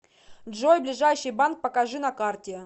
джой ближайший банк покажи на карте